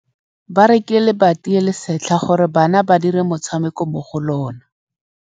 Ba rekile lebati le le setlha gore bana ba dire motshameko mo go lona.